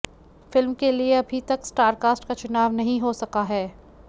film के लिए अभी तक स्टार कास्ट का चुनाव नहीं हो सका है